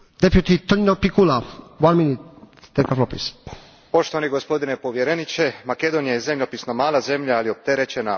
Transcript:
Gospodine povjereniče, Makedonija je zemljopisno mala zemlja, ali je opterećena ozbiljnim unutarnjim razorima u turbulentnom geopolitičkom okruženju.